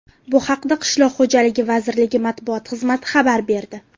Bu haqda Qishloq xo‘jaligi vazirligi matbuot xizmati xabar berdi .